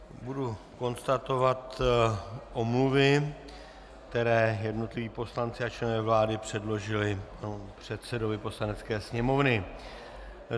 Budu konstatovat omluvy, které jednotliví poslanci a členové vlády předložili předsedovi Poslanecké sněmovny.